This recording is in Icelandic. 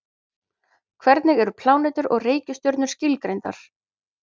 Hvernig eru plánetur og reikistjörnur skilgreindar?